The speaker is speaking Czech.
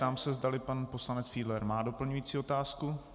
Ptám se, zdali pan poslanec Fiedler má doplňující otázku.